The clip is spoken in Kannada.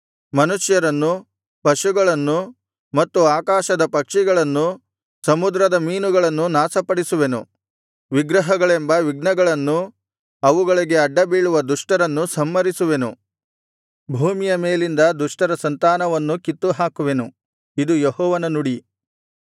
ಮನುಷ್ಯರನ್ನೂ ಪಶುಗಳನ್ನೂ ಮತ್ತು ಆಕಾಶದ ಪಕ್ಷಿಗಳನ್ನೂ ಸಮುದ್ರದ ಮೀನುಗಳನ್ನೂ ನಾಶಪಡಿಸುವೆನು ವಿಗ್ರಹಗಳೆಂಬ ವಿಘ್ನಗಳನ್ನೂ ಅವುಗಳಿಗೆ ಅಡ್ಡಬೀಳುವ ದುಷ್ಟರನ್ನೂ ಸಂಹರಿಸುವೆನು ಭೂಮಿಯ ಮೇಲಿಂದ ದುಷ್ಟರ ಸಂತಾನವನ್ನೂ ಕಿತ್ತುಹಾಕುವೆನು ಇದು ಯೆಹೋವನ ನುಡಿ